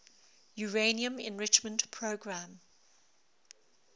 uranium enrichment program